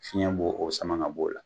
Fiɲɛ b'o, o sama g'a bo la.